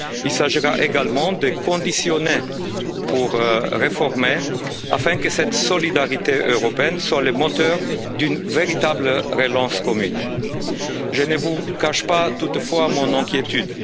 Il s'agira également de conditionner pour réformer, afin que cette solidarité européenne soit le moteur d'une véritable relance commune. Je ne vous cache pas toutefois mon inquiétude.